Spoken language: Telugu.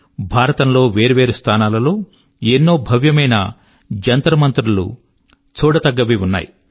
భారతం లో వేర్వేరు స్థానాల లో ఎన్నో భవ్యమైన జంతర్మంతర్ లు చూడదగ్గవి ఉన్నాయి